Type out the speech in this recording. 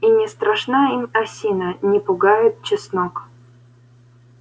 и не страшна им осина не пугает чеснок